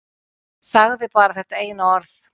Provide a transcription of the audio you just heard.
Sagði bara þetta eina orð.